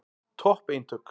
Topp eintök.